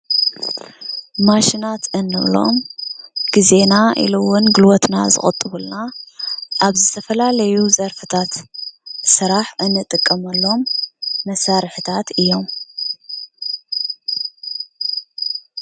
ማሽናት እንብሎም ግዜና ኢሉ እውን ጉልበትና ዝቁጥቡልና ኣብ ዝተፈላለዩ ዘርፍታት ስራሕ እንጥቀመሎም መሳርሕታት እዮም ።